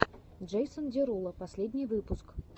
джейсон деруло последний выпуск